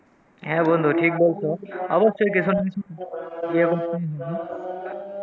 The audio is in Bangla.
হ্যাঁ বন্ধু ঠিক বলছো। অবশ্যই কিছু না কিছু